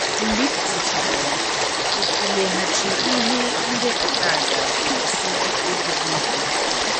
Mgbe ị kwụsịchara ya, ịtụleghachi ihe ndepụta a ga - ewusi mkpebi gị ike.